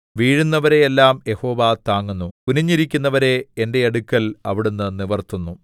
വീഴുന്നവരെ എല്ലാം യഹോവ താങ്ങുന്നു കുനിഞ്ഞിരിക്കുന്നവരെ എന്റെ അടുക്കൽ അവിടുന്ന് നിവിർത്തുന്നു